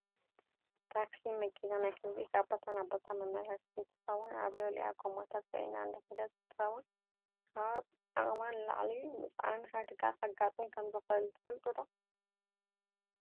ታክሲ መኪና ናይ ህዝቢ ካብ ቦታ ናብ ቦታ መመላለሲት እንትከውን ኣብ ልዕልአ ጎማታት ፂዒና እንዳከደት እንትከውን ካብ ዓቅማ ንላዕሊ ምፅዓን ሓደጋ ከጋጥም ከምዝክእል ትፈልጡ ዶ?